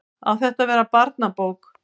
Á þetta að verða barnabók?